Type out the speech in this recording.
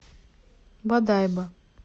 бодайбо